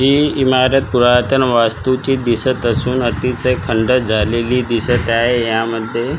ही इमारत पुरातन वास्तूची दिसत असून अतिशय खंडर झालेली दिसत आहे यामध्ये--